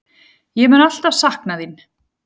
Ég mun alltaf sakna þín.